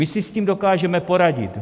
My si s tím dokážeme poradit.